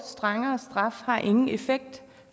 strengere straffe har ingen effekt